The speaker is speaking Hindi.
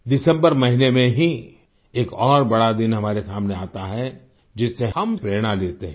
दिसम्बर महीने में ही एक और बड़ा दिन हमारे सामने आता है जिससे हम प्रेरणा लेते हैं